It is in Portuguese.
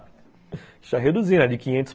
Deixa eu reduzir de quinhentos